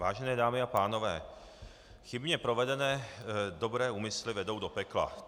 Vážené dámy a pánové, chybně provedené dobré úmysly vedou do pekla.